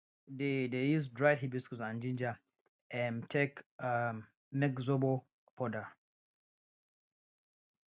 dey dey use dried hibiscus and ginger um take um make zobo um powder